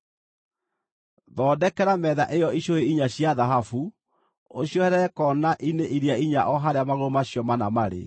Thondekera metha ĩyo icũhĩ inya cia thahabu, ũcioherere koona-inĩ iria inya o harĩa magũrũ macio mana marĩ.